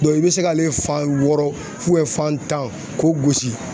i bɛ se k'ale fan wɔɔrɔ fan tan k'o gosi